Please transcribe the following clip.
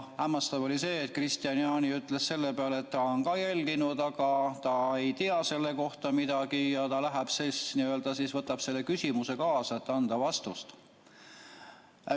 Hämmastav oli see, et Kristian Jaani ütles selle peale, et tema on ka sündmusi jälginud, aga ta ei tea selle kohta midagi ja ta võtab selle küsimuse kaasa, et anda vastus.